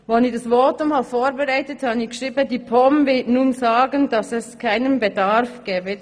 Bei der Vorbereitung dieses Votums schrieb ich: «Die POM wird nun sagen, dass es keinen Bedarf gebe.»